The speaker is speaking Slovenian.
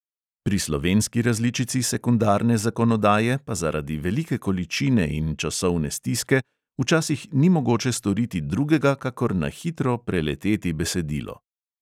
Pri slovenski različici sekundarne zakonodaje pa zaradi velike količine in časovne stiske včasih ni mogoče storiti drugega kakor na hitro preleteti besedilo.